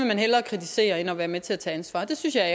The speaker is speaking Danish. man hellere kritisere end at være med til at tage ansvar det synes jeg er